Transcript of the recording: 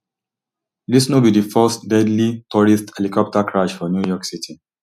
dis no be di first deadly tourist helicopter crash for new york city